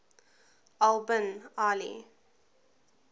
al bin ali